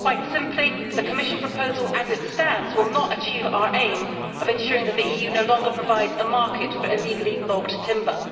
Quite simply, the Commission proposal as it stands will not achieve our aim of ensuring that the EU no longer provides a market for illegally logged timber.